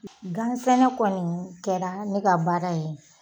Gan sɛnɛ kɔni kɛra ne ka baara ye